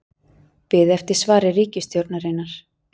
Beðið eftir svari ríkisstjórnarinnar